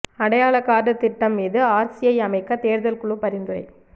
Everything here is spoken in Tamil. அடையாளக் கார்டு திட்டம் மீது ஆர்சிஐ அமைக்க தேர்தல் குழு பரிந்துரை